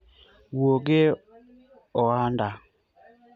wuog e ohanda